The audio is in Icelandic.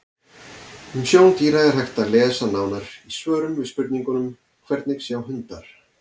Um sjón dýra er hægt að lesa nánar í svörum við spurningunum: Hvernig sjá hundar?